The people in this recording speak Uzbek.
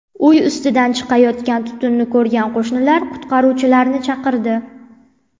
Uy ustidan chiqayotgan tutunni ko‘rgan qo‘shnilar qutqaruvchilarni chaqirdi.